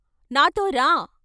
నాతో రా.....